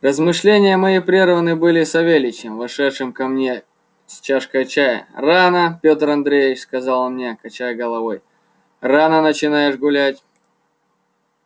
размышления мои прерваны были савельичем вошедшим ко мне с чашкою чая рано пётр андреич сказал он мне качая головою рано начинаешь гулять